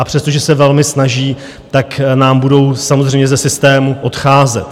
A přestože se velmi snaží, tak nám budou samozřejmě ze systému odcházet.